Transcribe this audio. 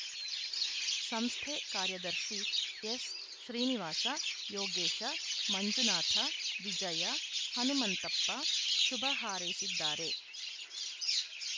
ಸಂಸ್ಥೆ ಕಾರ್ಯದರ್ಶಿ ಎಸ್‌ಶ್ರೀನಿವಾಸ ಯೋಗೇಶ ಮಂಜುನಾಥ ವಿಜಯ ಹನುಮಂತಪ್ಪ ಶುಭ ಹಾರೈಸಿದ್ದಾರೆ